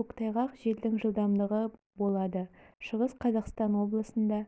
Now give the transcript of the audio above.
көктайғақ желдің жылдамдығы болады шығыс қазақстан облысында